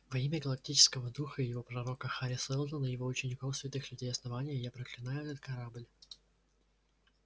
во имя галактического духа и его пророка хари сэлдона его учеников святых людей основания я проклинаю этот корабль